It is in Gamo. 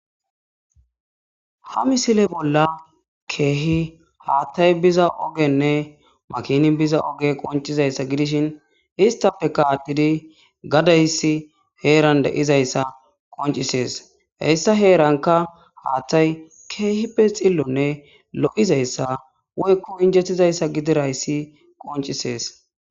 ha misile bolla keehi haattay biza ogenne makini biza oge qoncizayssa gidishin istafe kaadidi gadayssi heeran deizayssa qoncisees heyssa heeranka haattay keehippe xillonne lo7izayssa woykko injettizayssa gidirayssi qoncisees